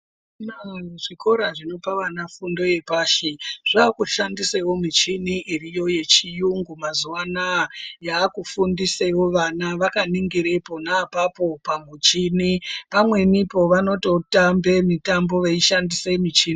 Zvikora zvinope vana fundo yepashi zvakushandisewo michini iriyo yechiyungu mazuwa anaya yaakufundisewo vana vakaningira pona apapo pamuchini pamwenipo vanototambe mitambo veishandise michini.